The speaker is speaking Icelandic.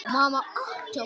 Hætti ég ekki?